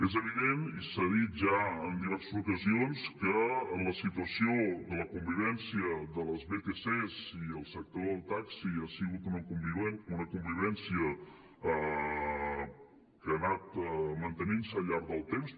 és evident i s’ha dit ja en diverses ocasions que la situació de la convivència de les vtcs i el sector del taxi ha sigut una convivència que ha anat mantenint se al llarg del temps